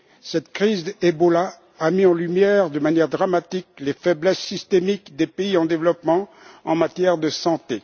Cette crise du virus Ebola a mis en lumière de manière dramatique les faiblesses systémiques des pays en développement en matière de santé.